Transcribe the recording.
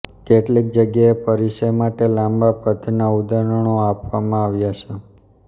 કેટલીક જગ્યાએ પરિચય માટે લાંબા પદ્યનાં ઉદાહરણો આપવામાં આવ્યા છે